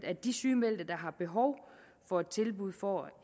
at de sygemeldte der har behov for et tilbud får